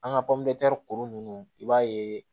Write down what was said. An ka kuru ninnu i b'a ye